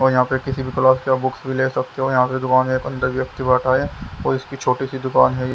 और यहाँ पे किसी भी क्लास के आप बुक्स भी ले सकते हो यहाँ पे दुकान है अंदर व्यक्ति बैठा हैऔर इसकी छोटी सी दुकान है।